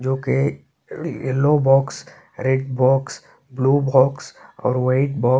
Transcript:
जोकि yellow box red box ( blue box और white box --